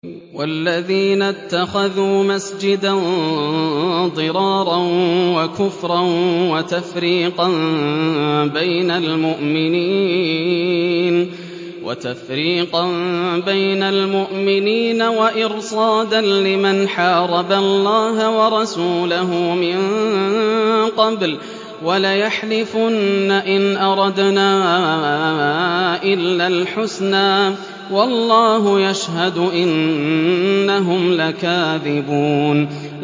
وَالَّذِينَ اتَّخَذُوا مَسْجِدًا ضِرَارًا وَكُفْرًا وَتَفْرِيقًا بَيْنَ الْمُؤْمِنِينَ وَإِرْصَادًا لِّمَنْ حَارَبَ اللَّهَ وَرَسُولَهُ مِن قَبْلُ ۚ وَلَيَحْلِفُنَّ إِنْ أَرَدْنَا إِلَّا الْحُسْنَىٰ ۖ وَاللَّهُ يَشْهَدُ إِنَّهُمْ لَكَاذِبُونَ